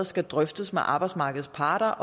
skal drøftes med arbejdsmarkedets parter